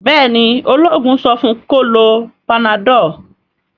béèni ,oloogun so fun kí o ló Panadol?